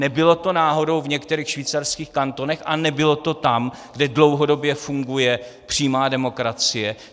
Nebylo to náhodou v některých švýcarských kantonech a nebylo to tam, kde dlouhodobě funguje přímá demokracie?